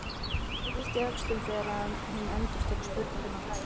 Yppti öxlum þegar hún endurtók spurninguna hlæjandi.